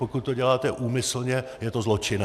Pokud to děláte úmyslně, je to zločinné.